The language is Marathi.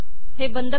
हे बंद करा